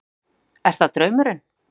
Hugrún: Er það draumurinn?